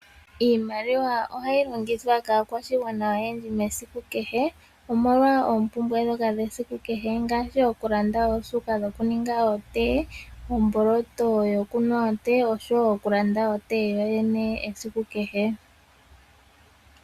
Iimaliwa ohayi longithwa kaakwashigwana oyendji esiku kehe ,molwa oompumbwe ndhoka dhesiku kehe ngaashi: okulanda osuuka yokuninga otee , omboloto yokunwitha otee oshowo okulanda otee yoyene esiku kehe.